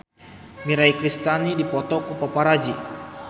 Mirei Kiritani dipoto ku paparazi